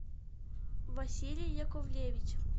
василий яковлевич